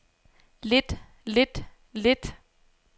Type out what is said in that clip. lidt lidt lidt